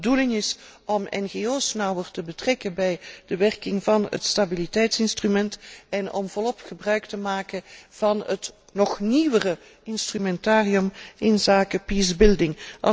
Dat het de bedoeling is om ngo's nauwer te betrekken bij de werking van het stabiliteitsinstrument, en om volop gebruik te maken van het nog nieuwere instrumentarium inzake peace building